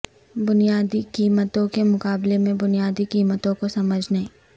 بنیادی قیمتوں کے مقابلے میں بنیادی قیمتوں کو سمجھنے